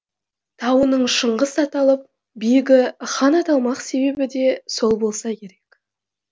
тауының шыңғысаталып биігі хан аталмақ себебі де сол болса керек